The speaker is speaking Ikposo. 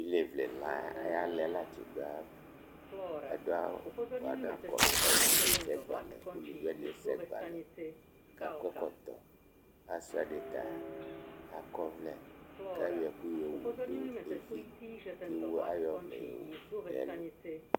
Ilevle la ayʋ ala yɛ ti du ayʋ ava Ese ɛgba lɛ alʋvi wani ese ɛgba lɛ kʋ akɔ ɛkɔtɔ Asi ɛdí ta akɔ ɔvlɛ kʋ ayɔ ɛkʋ yɔwu nʋ evi kʋ aɣɔ ɔvlɛ yɔwu nʋ ɛlu